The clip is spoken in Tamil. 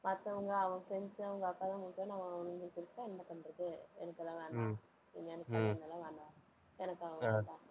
மத்தவங்க, அவ friends உ அவங்க அக்காதான் முக்கியம்னு அவன் அவுங்கள சொல்லிட்டா என்ன பண்றது? எனக்கு எல்லாம் வேண்டாம் எனக்கு அவங்கெல்லாம் வேண்டாம், எனக்கு அவன் வேண்டாம்.